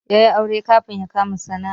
Ya yi aure kafin yabkama sana'a